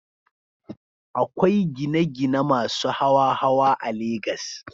Akwai gine-gine masu hawa-hawa a Legas.